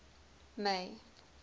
may